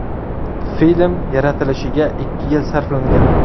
Film yaratilishiga ikki yil sarflangan.